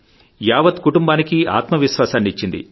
యావత్ కుటుంబానికీఆత్మ విశ్వాసాన్ని ఇచ్చింది